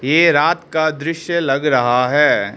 ये रात का दृश्य लग रहा है।